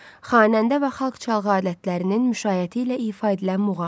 Xanəndə və xalq çalğı alətlərinin müşayiəti ilə ifa edilən muğam.